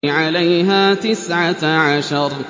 عَلَيْهَا تِسْعَةَ عَشَرَ